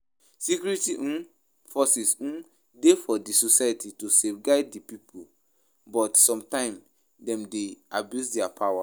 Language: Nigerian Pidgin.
Security um forces um de for di society to safeguard di pipo but sometimes Dem de abuse their power